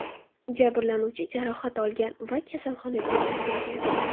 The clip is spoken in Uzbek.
Jabrlanuvchi jarohat olgan va kasalxonaga yotqizilgan.